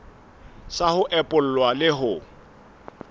sa ho epolla le ho